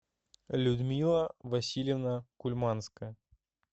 людмила васильевна кульманская